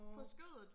nåå